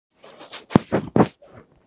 Varstu búinn að undirbúa þessa spurningu?